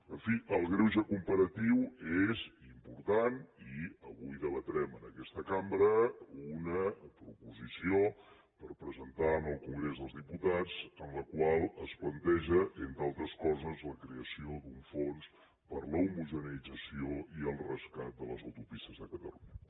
en fi el greuge comparatiu és important i avui debatrem en aquesta cambra una proposició per presentar en el congrés dels diputats en la qual es planteja entre altres coses la creació d’un fons per a l’homogeneïtzació i el rescat de les autopistes de catalunya